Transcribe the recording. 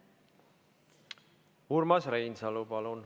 Urmas Reinsalu, palun!